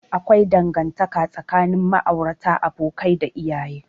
Akwai dangantaka tsakanin ma'aurata, abokai, da iyaye.